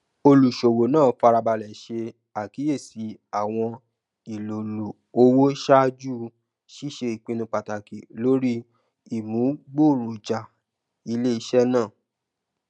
oluṣowo naa farabalẹ ṣe akiyesi awọn ilolu owo ṣaaju ṣiṣe ipinnu pataki lori imugboroja ileiṣẹ naa